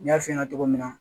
N y'a f'i ɲɛna cogo min na